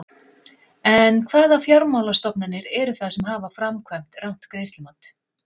En hvaða fjármálastofnanir eru það sem hafa framkvæmt rangt greiðslumat?